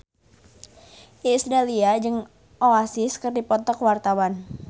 Iis Dahlia jeung Oasis keur dipoto ku wartawan